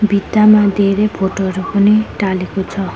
भित्तामा धेरै फोटो हरू पनि टालेको छ।